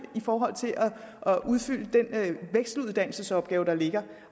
forhold til at udfylde den vekseluddannelsesopgave der ligger